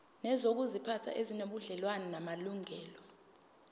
nezokuziphatha ezinobudlelwano namalungelo